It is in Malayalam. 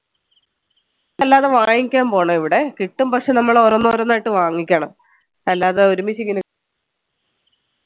അല്ലാതെ വാങ്ങിക്കാൻ പോണം ഇവിടെ കിട്ടും പക്ഷേ നമ്മൾ ഓരോന്നോരോന്നായിട്ട് വാങ്ങിക്കണം അല്ലാതെ ഒരുമിച്ച് ഇങ്ങനെ